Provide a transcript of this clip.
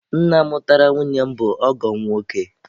Nna mụtara nwunye m bụ ọgọ m nwoke.